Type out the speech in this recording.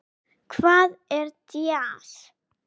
Hvað er djass?